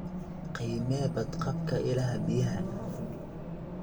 Qiimee badqabka ilaha biyaha.